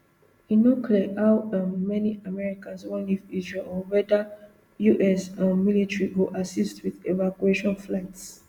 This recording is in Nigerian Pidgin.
e no clear how um many americans wan leave israel or weda us um military go assist wit evacuation flights